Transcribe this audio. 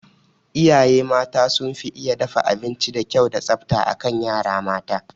Iyaye mata sun fi iya dafa abinci da kyau da tsafta akan yara mata